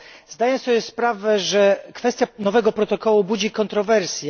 Zdaję sobie sprawę, że kwestia nowego protokołu budzi kontrowersje.